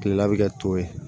Kilela bɛ kɛ to ye